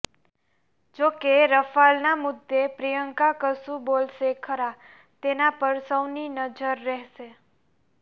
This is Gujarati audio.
જોકે રફાલના મુદ્દે પ્રિયંકા કશું બોલશે ખરા તેના પર સૌની નજર રહેશે